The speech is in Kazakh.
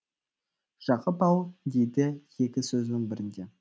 жақып ау дейді екі сөзінің бірінде